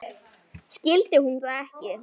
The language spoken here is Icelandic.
Skildi hún það ekki?